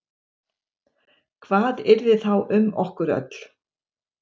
Hvað yrði þá um okkur öll?